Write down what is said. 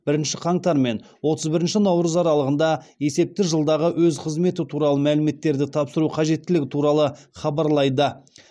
бірінші қаңтар мен отыз бірінші наурыз аралығында есепті жылдағы өз қызметі туралы мәліметтерді тапсыру қажеттілігі туралы хабарлайды